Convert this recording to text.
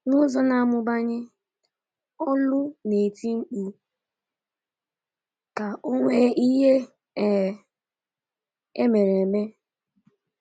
N’ụzọ na-amụbanye, olu na-eti mkpu ka onwe ihe e um mere. mere.